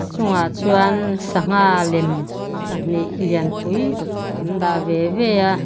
a chungah chuan sangha lem pahnih lian pui an dah veve a.